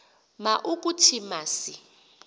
ma ukuthi masi